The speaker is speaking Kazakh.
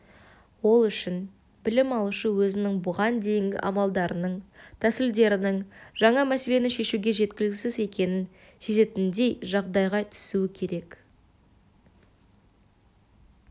ол үшін білім алушы өзінің бұған дейінгі амалдарының тәсілдерінің жаңа мәселені шешуге жеткіліксіз екенін сезетіндей жағдайға түсуі керек